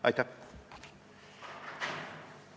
Aitäh!